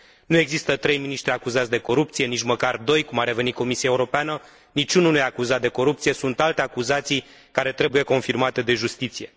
Nu există trei miniștri acuzați de corupție, nici măcar doi, cum a revenit Comisia Europeană, nici unul nu e acuzat de corupție, sunt alte acuzații care trebuie confirmate de justiție.